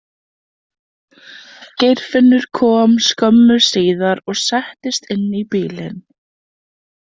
Geirfinnur kom skömmu síðar og settist inn í bílinn.